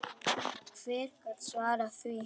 Og hver gat svarað því?